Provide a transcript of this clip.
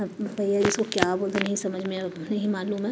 भैया इसको क्या बोलते नहीं समझ में नहीं मालूम।